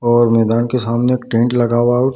और मैदान के सामने एक टेंट लगा हुआ और --